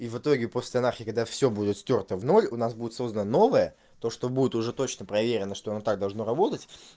и в итоге просто нафиг когда всё будет стёрто в ноль у нас будет создан новое то что будет уже точно проверено что оно так должно работать